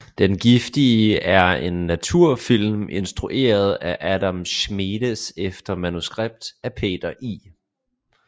Den giftige er en naturfilm instrueret af Adam Schmedes efter manuskript af Peter I